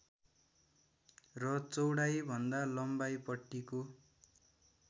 र चौडाइभन्दा लम्बाइपट्टिको